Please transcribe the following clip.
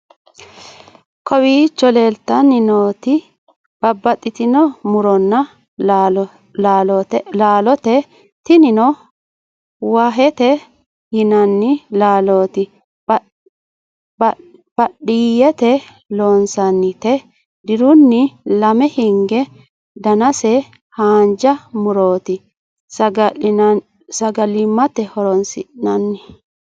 kawicho leeltanni nooeti babaxitinno muronna laalote tinino wahete yinanni laalooti baadiyete loonsannite dirunni lame hinge danase haanja murooti sagalimmate horoonsi'nanni